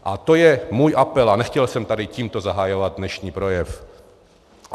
A to je můj apel a nechtěl jsem tady tímto zahajovat dnešní projev.